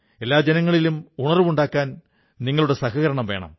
എല്ലാ ജനങ്ങളിലും ഉണർവ്വുണ്ടാക്കാൻ നിങ്ങളുടെ സഹകരണം വേണം